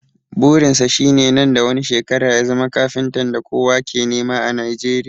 Burin sa shi ne nan da wani shekara ya zama kafintan da kowa ke nema a Nijeriya